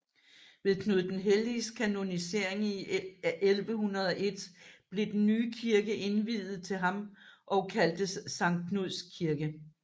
Ved Knud den Helliges kanonisering i 1101 blev den nye kirke indviet til ham og kaldtes Sankt Knuds Kirke